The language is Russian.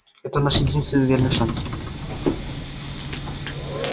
это наш единственный верный шанс